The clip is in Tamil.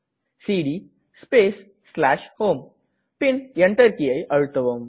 CD space home bin Enter கீயை அழுத்தவும்